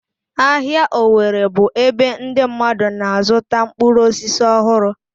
Ahịa owerri bụ ebe ndị mmadụ na-azụta mkpụrụ osisi ọhụrụ.